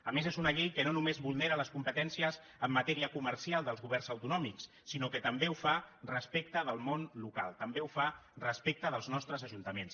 a més és una llei que no només vulnera les competències en matèria comercial dels governs autonòmics sinó que també ho fa respecte del món local també ho fa respecte dels nostres ajuntaments